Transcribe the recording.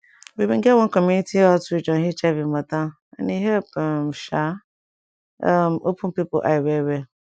we bin get one community outreach on hiv mata and e help um sha um open people eye well well